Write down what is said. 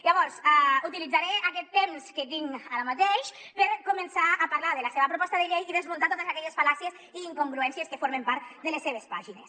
llavors utilitzaré aquest temps que tinc ara mateix per començar a parlar de la seva proposta de llei i desmuntar totes aquelles fal·làcies i incongruències que formen part de les seves pàgines